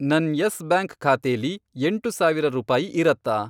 ನನ್ Yes Bank ಖಾತೆಲಿ, ಎಂಟು ಸಾವಿರ ರೂಪಾಯಿ ಇರತ್ತಾ?